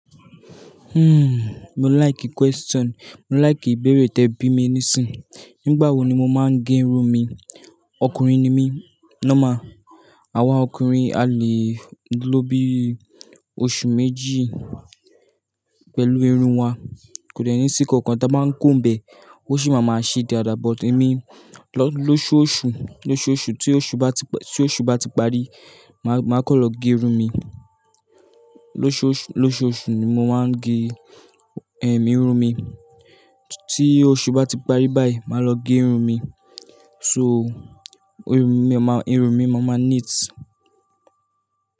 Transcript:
Hmm, mo like question, mo like ìbéèrè tẹ bí mi nísìnyí. Nígbà wo ni mo máa ń gẹ irun mi? Ọkùnrin ni mí, normal, àwa ọkùnrin a lè ló bíi oṣù méjì pẹ̀lú irun wa. Kò dẹ̀ ní sí nǹkan kan tí a bá ń comb ẹ̀, ó sì máa máa ṣe dáadáa but èmi lóṣù ọṣù lóṣooṣù tí oṣù bá ti parí máa kàn lọ gé irun mi. Lóṣọṣù ni mo máa ń gẹ, ẹm irun mi. Tí oṣù bá ti parí báyìí máa lọ gẹ irun mi. So irun mi máa, irun mi màá ma neat.